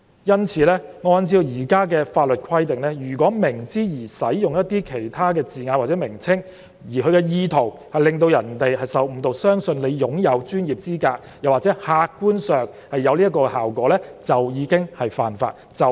因此，按照現行法例的規定，如果明知而使用一些字眼或名稱，而其意圖是致使其他人受誤導，相信他擁有專業資格或客觀上達致這個效果，即屬犯法。